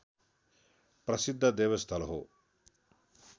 प्रसिद्ध देवस्थल हो